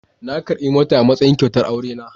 Na karbi mota a matsayin kyautar aurena.